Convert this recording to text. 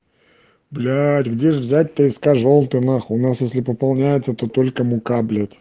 блять где взять ты сказал ты нахуй нас если пополняется только мука блять